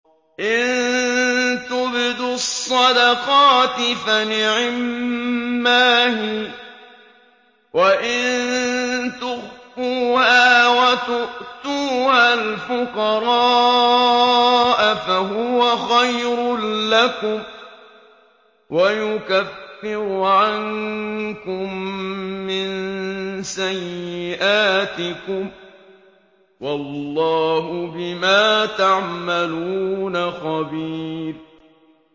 إِن تُبْدُوا الصَّدَقَاتِ فَنِعِمَّا هِيَ ۖ وَإِن تُخْفُوهَا وَتُؤْتُوهَا الْفُقَرَاءَ فَهُوَ خَيْرٌ لَّكُمْ ۚ وَيُكَفِّرُ عَنكُم مِّن سَيِّئَاتِكُمْ ۗ وَاللَّهُ بِمَا تَعْمَلُونَ خَبِيرٌ